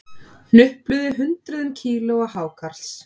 Hnupluðu hundruðum kílóa hákarls